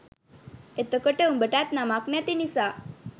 එතකොට උඹටත් නමක් නැති නිසා